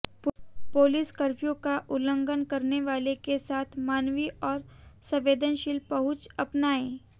police कफ्र्यू का उल्लंघन करने वालों के साथ मानवी और संवेदनशील पहुँच अपनाये